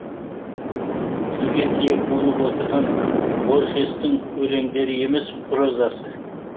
тілге тиек болып отырған борхестың өлеңдері емес прозасы